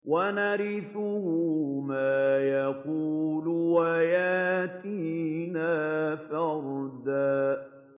وَنَرِثُهُ مَا يَقُولُ وَيَأْتِينَا فَرْدًا